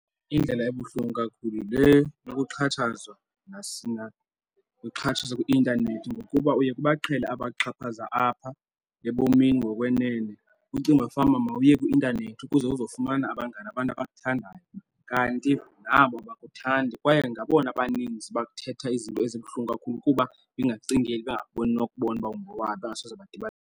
Indlela ebuhlungu kakhulu yile yokuxhatshazwa , ukuxhatshazwa kwi-intanethi ngokuba uye kuba baqhele abaxhaphaza apha ebomini ngokwenene. Ucinga uba fanuba mawuye kwi-intanethi ukuze uzofumana abangani abantu abakuthandayo kanti nabo abakuthandi kwaye ngabona abaninzi bakuthetha izinto ezibuhlungu kakhulu kuba bengakucingeli bengakuboni nokubona uba ungowaphii bengasoze badibane.